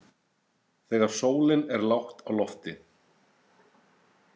Þegar sólin er lágt á lofti.